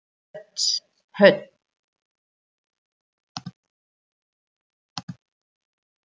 Hödd: Hvernig farið þið að því að reikna þetta út?